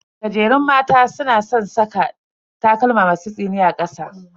Gajerun mata suna san saka takalma masu tsini a kasa.